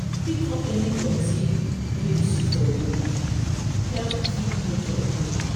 Pick up any dirty wey you see for road, help keep nature clean.